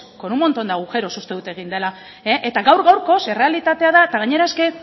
con un montón de agujeros uste dut egin dela gaur gaurkoz errealitatea da eta gainera es que